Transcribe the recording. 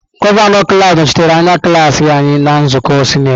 Gọvanọ klaasị nọchitere anya klaasị anyị na nzukọ sinetị.